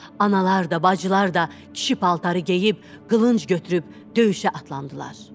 Analar da, bacılar da kişi paltarı geyib, qılınc götürüb döyüşə atlandılar.